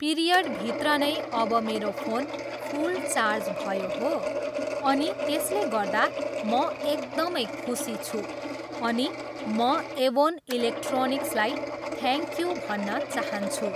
पिरियडभित्र नै अब मेरो फोन फुल चार्ज भयो हो अनि त्यसले गर्दा म एकदमै खुसी छु अनि म एभोन इलोक्ट्रनिक्सलाई थ्याङक यु भन्न चाहन्छु।